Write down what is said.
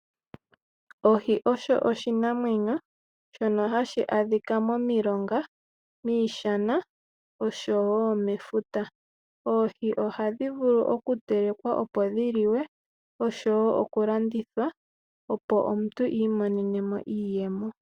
Ohi osho oshinamwenyo shono hashi adhika momilonga, miishana oshowo mefuta. Oohi ohadhi vulu okutelekwa opo dhi li we oshowo okulandithwa opo omuntu iimonene mo iiyemo.